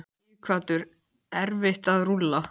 Sighvatur: Erfitt að rúlla?